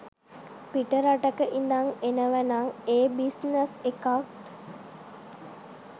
පිට රටක ඉඳං එනවනං ඒ බිස්නස් එකත්